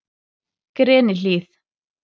Grenihlíð